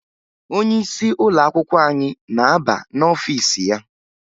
Onyeisi ụlọakwụkwọ anyị na-aba n'ọfiisi ya